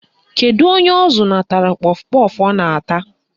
Kedu onye ọ zụnatara kpọf kpọf ọ na-ata?